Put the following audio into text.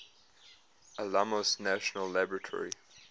alamos national laboratory